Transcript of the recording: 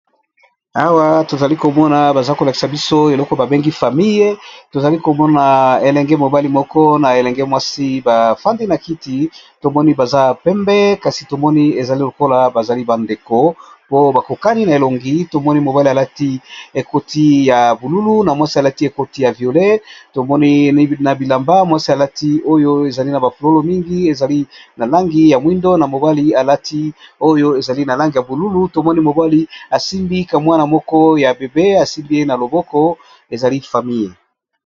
Bilenge mwasi na mobali bazali bongo elongi moko lokola mapasa, bafandi esika moko. Ya mobali afandisi mwana na makolo naye. Kitoko na kotala.